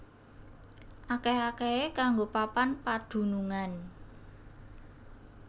Akèh akèhé kanggo papan padunungan